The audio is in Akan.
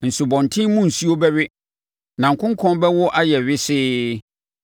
Nsubɔntene mu nsuo bɛwe, na nkonkɔn bɛwo ayɛ wesee.